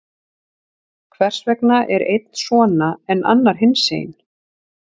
Hvers vegna er einn svona, en annar hinsegin?